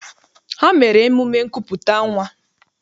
Ha mere emume nkupụta nnwa.